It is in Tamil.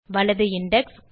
வலது இண்டெக்ஸ்